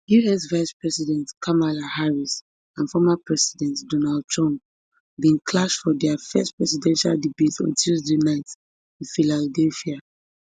us vice president kamala harris and former president donald trump bin clash for dia first presidential debate on tuesday night for philadelphia